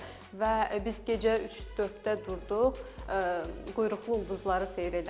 Və biz gecə 3-4-də durduq, quyruqlu ulduzları seyr elədik.